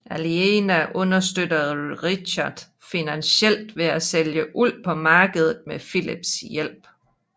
Aliena understøtter Richard finansielt ved at sælge uld på markedet med Phillips hjælp